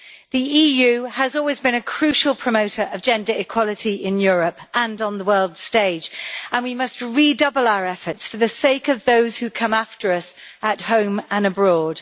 The EU has always been a crucial promoter of gender equality in Europe, and on the world stage, and we must redouble our efforts for the sake of those who come after us at home and abroad.